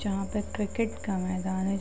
जहां पे क्रिकेट का मैदान है।